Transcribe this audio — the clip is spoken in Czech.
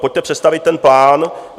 Pojďte představit ten plán.